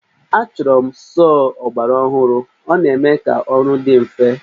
Achọburu m sọọ ọgbaraọhụrụ, ọ na-eme ka ọrụ dị mfe